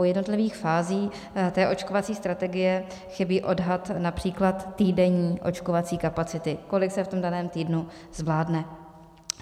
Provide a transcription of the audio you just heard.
U jednotlivých fází té očkovací strategie chybí odhad například týdenní očkovací kapacity, kolik se v tom daném týdnu zvládne.